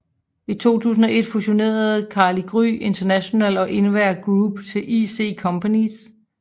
I 2001 fusioneredes Carli Gry International og InWear Group til IC Companys